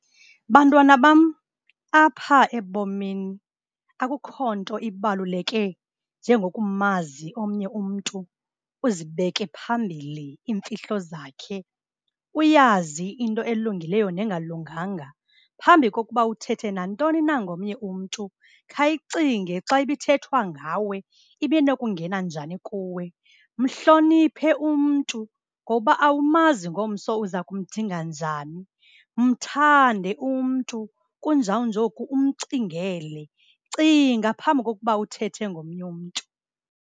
Bantwana bam, apha ebomini akukho nto ibaluleke njengokumazi omnye umntu, uzibeke phambili imfihlo zakhe, uyazi into elungileyo nengalunganga. Phambi kokuba uthethe nantoni ngomnye umntu, khayicinge xa ibithethwa ngawe ibinokungena njani kuwe. Mhloniphe umntu ngoba awumazi ngomso uza kumdinga njani. Mthande umntu, kunjawunjoku umcingele. Cinga phambi kokuba uthethe ngomnye umntu.